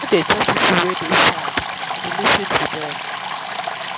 i no dey judge pipo wey dey sad i dey lis ten to dem.